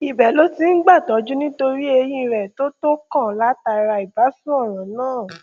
ibẹ ló ti ń gbàtọjú nítorí eyín rẹ tó tó kàn látara ìbásun ọràn náà